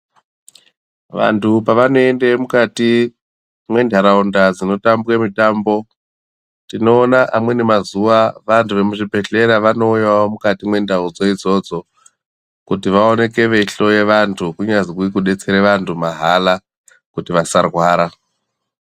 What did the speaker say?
Vantu pavanoende mukati mwentaraunda dzinotambwe mitambo tinoona amweni mazuwa vantu vemuzvibhehlera vanouyawo mukati mwendau dzoidzodzo kuti vaoneke veihloye vantu kunyazwi kudetsera vantu mahara kuti vasarwara.